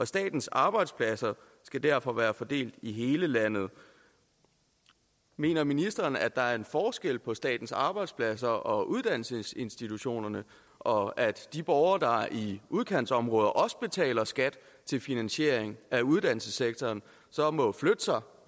statens arbejdspladser skal derfor også være fordelt i hele landet mener ministeren at der er en forskel på statens arbejdspladser og uddannelsesinstitutionerne og at de borgere i udkantsområderne der også betaler skat til finanisering af uddannelsessektoren så må flytte sig